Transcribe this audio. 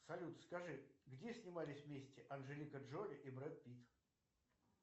салют скажи где снимались вместе анжелика джоли и брэд питт